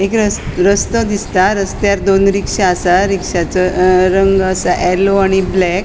एक रा रस्तो दिसता रस्त्यार दोन रिक्शा असा रिक्षाचो अ रंग आसा येललो आणि ब्लैक .